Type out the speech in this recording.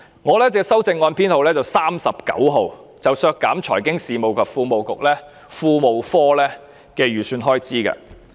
我提出的修正案編號 39， 是要求削減財經事務及庫務局的預算開支。